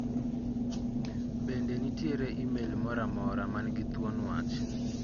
Bende nitiere imel moro amora man gi thuon wach?